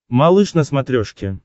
малыш на смотрешке